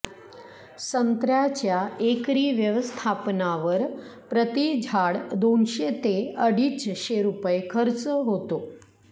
संत्र्याच्या एकरी व्यवस्थापनावर प्रती झाड दोनशे ते अडीचशे रुपये खर्च होतो